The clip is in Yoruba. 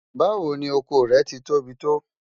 Báwo ni ọkọ rẹ́ ti tóbi tó?